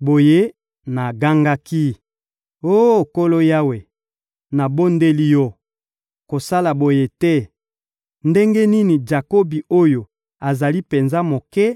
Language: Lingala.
Boye, nagangaki: — Oh Nkolo Yawe, nabondeli Yo, kosala boye te! Ndenge nini Jakobi oyo azali penza moke